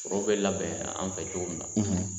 foro bɛ labɛn an fɛ cogo min na